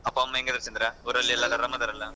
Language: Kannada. ಅಪ್ಪಾ ಅಮ್ಮ ಹೆಂಗ್ ಇದ್ದಾರೆ ಚಂದ್ರ ಊರಲ್ಲಿ ಎಲ್ಲರೂ ಆರಂ ಅದಾರ್ ಅಲ್ಲ?